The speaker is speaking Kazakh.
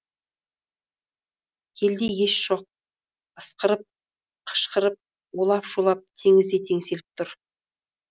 елде ес жоқ ысқырып қышқырып улап шулап теңіздей теңселіп тұр